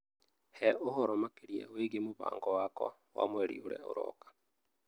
He ũhoro makĩria wĩgiĩ mũbango wakwa wa mweri ũrĩa ũroka